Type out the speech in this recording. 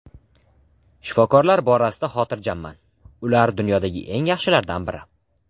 Shifokorlar borasida xotirjamman, ular dunyodagi eng yaxshilardan biri.